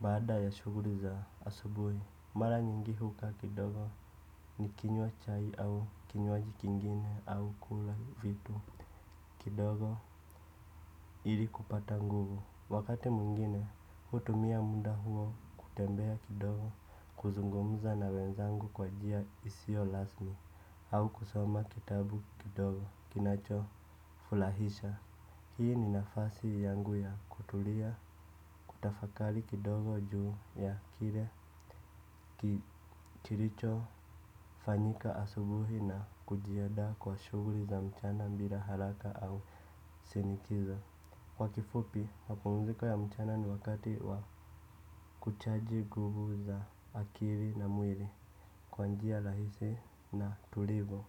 Baada ya shuguli za asubuhi mara nyingi hukaa kidogo ni kinywa chai au kinywaji kingine au kula vitu kidogo ili kupata nguvu. Wakati mwingine hutumia muda huo kutembea kidogo kuzungumza na wenzangu kwa jia isio lasmi au kusoma kitabu kidogo kinacho fulahisha hii ni nafasi yangu ya kutulia kutafakali kidogo juu ya kire kiricho fanyika asubuhi na kujiadaa kwa shuguli za mchana mbila haraka au sinikiza kwa kifupi mapumziko ya mchana ni wakati wa kuchaji guvu za akiri na mwiri kwa njia lahisi na tulivu.